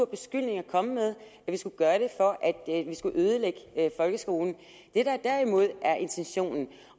beskyldning at komme med at vi skulle gøre det for at ødelægge folkeskolen det der derimod er intentionen